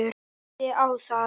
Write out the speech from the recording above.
Minnti á það.